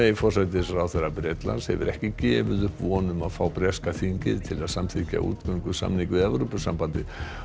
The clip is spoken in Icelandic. forsætisráðherra Bretlands hefur ekki gefið upp von um að fá breska þingið til að samþykkja útgöngusamning við Evrópusambandið